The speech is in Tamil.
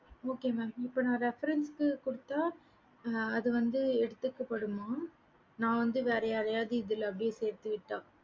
okay mam இப்ப நான் reference குடுத்த அது வந்து எடுத்து வைக்க படுமாம் நான் வந்து இதுல வேற யாரையாவது சேர்த்து விட்ட